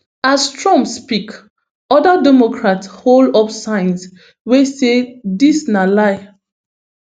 as trump speak oda democrats hold up signs wey say dis na lie